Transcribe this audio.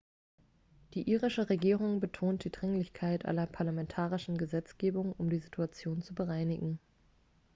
die irische regierung betont die dringlichkeit einer parlamentarischen gesetzgebung um die situation zu bereinigen